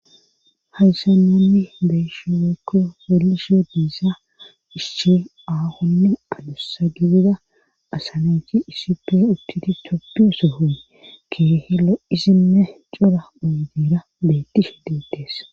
haysannanni beeshuekko felishiyo diisa ishchi aahonne alusa gidida asanachi iisip uttuti toppiyo soho keehe lo7isinne cura oydera beettishe ditees